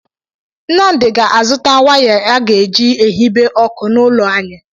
Nnamdi ga-azụta waya aga eji ehibe ọkụ n'ụlọ anyị.